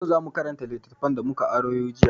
Yau za mu karanta littattafan da mu ka aro jiya.